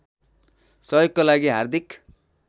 सहयोगका लागि हार्दिक